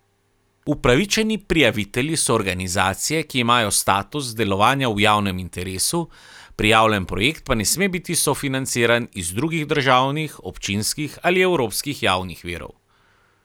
Upravičeni prijavitelji so organizacije, ki imajo status delovanja v javnem interesu, prijavljen projekt pa ne sme biti sofinanciran iz drugih državnih, občinskih ali evropskih javnih virov.